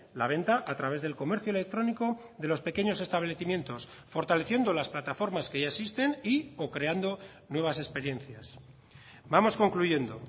la venta a través del comercio electrónico de los pequeños establecimientos fortaleciendo las plataformas que ya existen y o creando nuevas experiencias vamos concluyendo